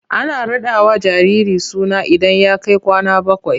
Ana raɗawa jariri suna idan ya kai kwana bakwai.